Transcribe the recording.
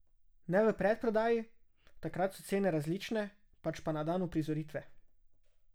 Ne v predprodaji, takrat so cene različne, pač pa na dan uprizoritve.